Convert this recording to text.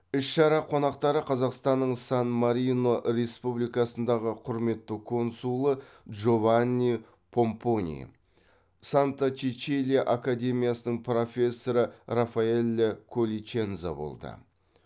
іс шара қонақтары қазақстанның сан марино республикасындағы құрметті консулы джованни помпони санта чечилия академиясының профессоры рафаэлле колличенза болды